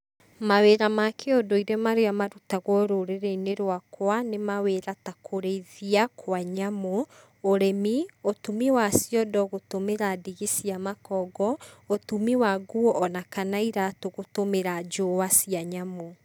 Mawĩra ma kĩũndũire marĩa marutagwo rũrĩrĩ-inĩ rwakwa, nĩ mawĩra ta kũrĩithia kwa nyamũ, ũrĩmi, ũtumi wa ciondo gũtũmĩra ndigi cia makongo, ũtumi wa nguo ona kana iratũ gũtũmĩra njũa cia nyamũ.